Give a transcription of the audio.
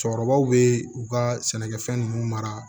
Cɛkɔrɔbaw bɛ u ka sɛnɛkɛfɛn ninnu mara